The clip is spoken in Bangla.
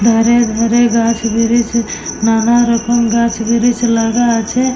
ধারে ধারে গাছ ব্রিজ নানা রকম গাছ ব্রিজ লাগা আছে।